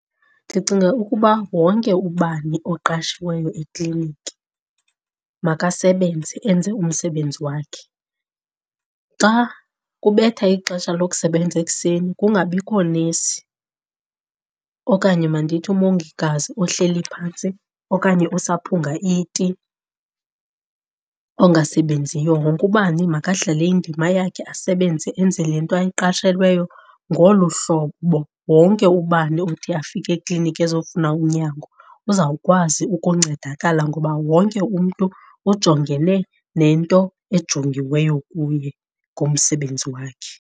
Ndicinga ukuba wonke ubani oqashiweyo ekliniki makasebenze enze umsebenzi wakhe. Xa kubetha ixesha lokusebenza ekuseni kungabikho nesi okanye mandithi umongikazi ohleli phantsi okanye osaphunga iti ongasebenziyo. Wonke ubani makadlale indima yakhe asebenze enze le nto ayiqashelweyo. Ngolu hlobo wonke ubani othi afike ekliniki ezofuna unyango uzawukwazi ukuncedakala ngoba wonke umntu ujongene nento ejongiweyo kuye ngomsebenzi wakhe.